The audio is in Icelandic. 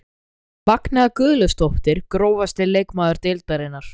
Magnea Guðlaugsdóttir Grófasti leikmaður deildarinnar?